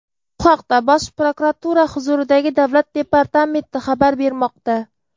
Bu haqda Bosh prokuratura huzuridagi davlat departamenti xabar bermoqda.